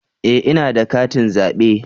E! ina da katin zabe.